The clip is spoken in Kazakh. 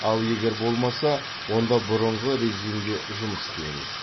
ал егер болмаса онда бұрынғы режимде жұмыс істейміз